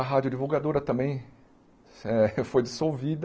A Rádio Divulgadora também eh foi dissolvida.